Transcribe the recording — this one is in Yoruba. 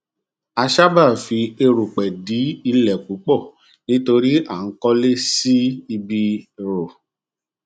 a sáábà fi erùpẹ dí ilẹ púpọ um nítorí à ń kọlé um sí ibi rọ